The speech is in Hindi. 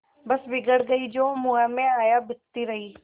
बस बिगड़ गयीं जो मुँह में आया बकती रहीं